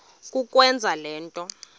kukwenza le nto